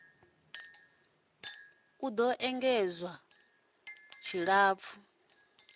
do ṱoḓea u engedzwa tshiṱafu